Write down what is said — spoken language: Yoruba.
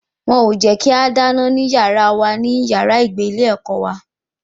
Wọn ò jẹ́ kí a dáná nínú yàrá wa ní yàrá ìgbé ilé ẹ̀kọ́ wa